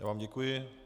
Já vám děkuji.